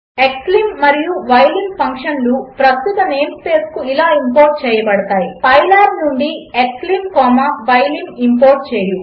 7 xlim మరియు ylim ఫంక్షన్లు ప్రస్తుత నేం స్పేస్కు ఇలా ఇంపోర్ట్ చేయబడతాయి పైలాబ్ నుండి క్స్లిమ్ కామా యిలిమ్ ఇంపోర్ట్ చేయి